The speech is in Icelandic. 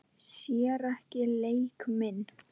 Sér ekki leik minn.